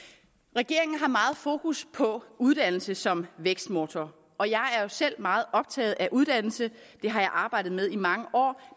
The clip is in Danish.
regeringen har meget fokus på uddannelse som vækstmotor og jeg er jo selv meget optaget af uddannelse det har jeg arbejdet med i mange år